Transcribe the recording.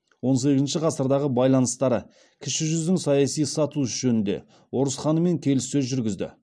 он сегізінші ғасырдағы байланыстары кіші жүздің саяси статусы жөнінде орыс ханымен келіссөз жүргізді